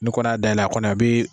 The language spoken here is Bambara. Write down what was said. N'i kɔni y'a dayɛlɛ a kɔni a bi.